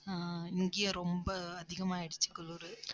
ஆஹ் இங்கயே ரொம்ப அதிகமாயிருச்சு குளுரு.